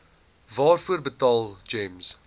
waarvoor betaal gems